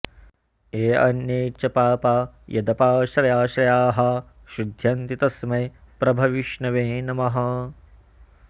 येऽन्ये च पापा यदपाश्रयाश्रयाः शुध्यन्ति तस्मै प्रभविष्णवे नमः